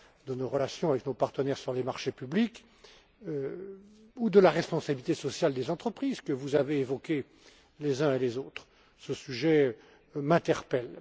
de nos relations avec nos partenaires sur les marchés publics ou de la responsabilité sociale des entreprises, que vous avez évoquée les uns et les autres, ce sujet m'interpelle.